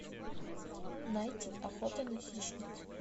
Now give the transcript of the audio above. найти охота на хищниц